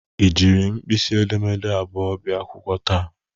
Ị jiri mkpisi edemede abụọ bia akwụkwọ taa?